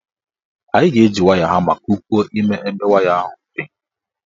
Anyị ga-eji hama kupuo ime ebe waya ahụ dị.